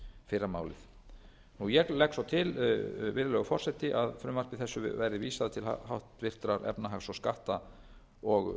fyrramálið ég legg svo til virðulegi forseti að frumvarpinu verði vísað til háttvirtrar efnahags og